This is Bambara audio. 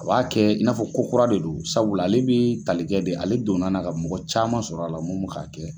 A b'a kɛ i n'a fɔ ko kura de don sabula ale bi tali kɛ de, ale donna na ka mɔgɔ caman sɔrɔ a la mun bi ka kɛ.